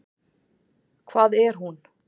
Hvað er hún?